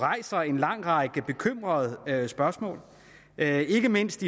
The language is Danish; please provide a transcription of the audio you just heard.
stiller en lang række bekymrede spørgsmål det er ikke mindst